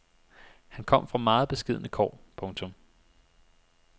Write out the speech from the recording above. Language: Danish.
Han kom fra meget beskedne kår. punktum